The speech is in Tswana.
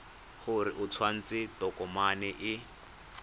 gore o tsentse tokomane e